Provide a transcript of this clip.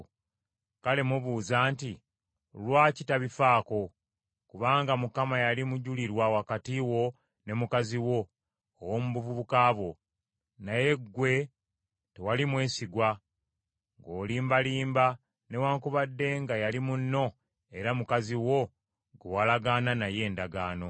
Kale mubuuza nti, “Lwaki tabifaako?” Kubanga Mukama yali mujulirwa wakati wo ne mukazi wo ow’omu buvubuka bwo, naye ggwe tewali mwesigwa, ng’olimbalimba newaakubadde nga yali munno era mukazi wo gwe walagaana naye endagaano.